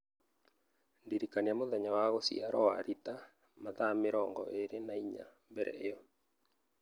ndĩrikania mũthenya wa gũciarũo wa Rita mathaa mĩrongo ĩĩrĩ na inya mbere ĩyo